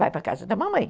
Vai para casa da mamãe.